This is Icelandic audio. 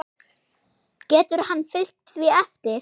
Getur hann fylgt því eftir?